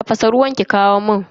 Tafasa ruwan ki kawo mun.